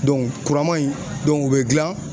kuraman in o be gilan